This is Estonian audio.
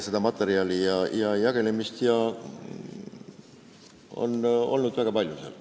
Seda materjali ja jagelemist ja muud sellist oli väga palju.